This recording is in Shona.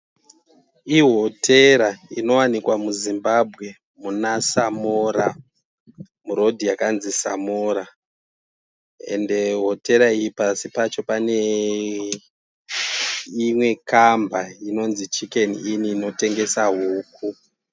Ihotera inowanikwa muZimbabwe muna Samora murodhi yakanzi Samora ende hotera iyi pasi pacho pane imwe kamba inonzi chikeni ini inotengesa huku.